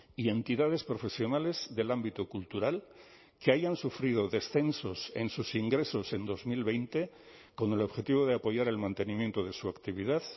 y entidades profesionales del ámbito cultural que hayan sufrido descensos en sus ingresos en dos mil veinte con el objetivo de apoyar el mantenimiento de su actividad